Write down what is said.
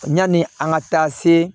Yani an ka taa se